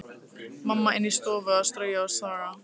Mamma inni í stofu að strauja og staga.